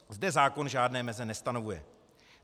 Zde zákon žádné meze nestanovuje.